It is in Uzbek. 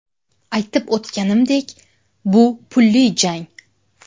Aytib o‘tganimdek, bu pulli jang.